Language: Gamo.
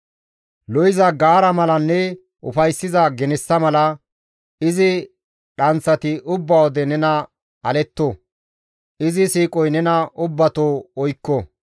Lo7iza gaara malanne ufayssiza genessa mala, izi dhanththati ubba wode nena aletto; izi siiqoy nena ubbato oykko.